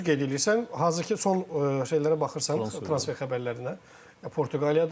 Düz qeyd eləyirsən, hazırki son şeylərə baxırsan transfer xəbərlərinə Portuqaliyadan.